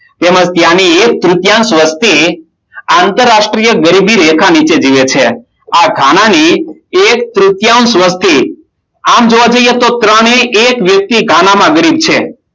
તેમજ ત્યાંની એક તૃતીયાંશ વસ્તી આંતરરાષ્ટ્રીય ગરીબી રેખા નીચે જીવે છે. આ ગાના ની એક તૃતીયાંશ વસ્તી આમ જોવા જઈએ તો ત્રણે એક વ્યક્તિ ગાનામાં ગરીબ છે.